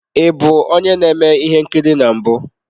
Ị bụ onye na-eme ihe nkiri na mbụ?